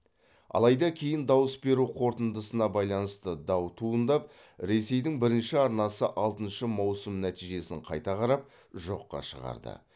алайда кейін дауыс беру қорытындысына байланысты дау туындап ресейдің бірінші арнасы алтыншы маусым нәтижесін қайта қарап жоққа шығарды